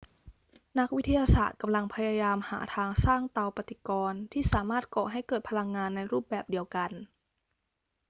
นักวิทยาศาสตร์กำลังพยายามหาทางสร้างเตาปฏิกรณ์ที่สามารถก่อให้เกิดพลังงานในรูปแบบเดียวกัน